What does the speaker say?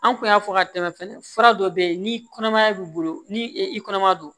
An kun y'a fɔ ka tɛmɛ fura dɔ be yen ni kɔnɔmaya b'i bolo ni i kɔnɔma don